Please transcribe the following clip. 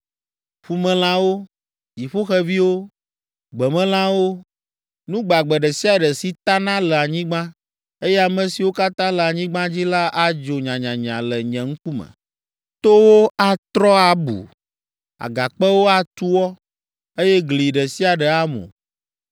Ƒumelãwo, dziƒoxeviwo, gbemelãwo, nu gbagbe ɖe sia ɖe si tana le anyigba, eye ame siwo katã le anyigba dzi la adzo nyanyanya le nye ŋkume. Towo atrɔ abu, agakpewo atu wɔ, eye gli ɖe sia ɖe amu.